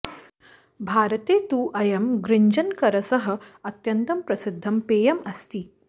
भारते तु अयं गृञ्जनकरसः अत्यन्तं प्रसिद्धं पेयम् अस्ति